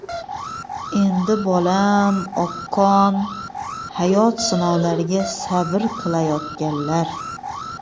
endi bolam oqqon – hayot sinovlariga sabr qilayotganlar.